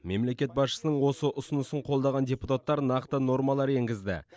мемлекет басшысының осы ұсынысын қолдаған депутаттар нақты нормалар енгізді